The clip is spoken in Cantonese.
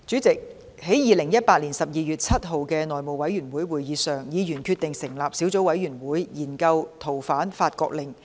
在2018年12月7日的內務委員會會議上，議員決定成立小組委員會，研究《逃犯令》。